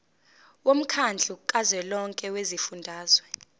womkhandlu kazwelonke wezifundazwe